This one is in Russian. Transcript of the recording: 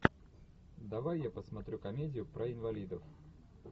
давай я посмотрю комедию про инвалидов